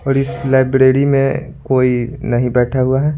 और इस लाइब्रेरी में कोई नहीं बैठा हुआ है।